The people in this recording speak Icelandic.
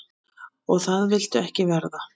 Og það viltu ekki verða.